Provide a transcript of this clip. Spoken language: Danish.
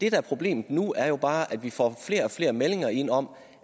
er problemet nu er jo bare at vi får flere og flere meldinger ind om